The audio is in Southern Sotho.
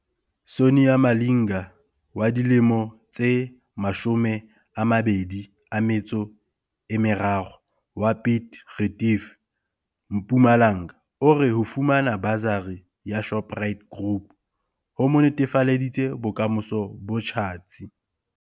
Sonia Malinga wa dilemo tse 23 wa Piet Retief, Mpumalanga o re ho fumana basari ya Shoprite Group ho mo netefaleditse bokamoso bo tjhatsi.